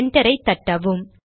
enter ஐ தட்டவும்